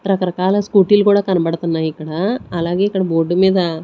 రకరకాల స్కూటీ లు కూడా కనబడుతున్నాయి ఇక్కడ అలాగే ఇక్కడ బోర్డు మీద.